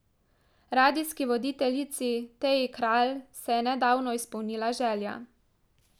Radijski voditeljici Teji Kralj se je nedavno izpolnila želja.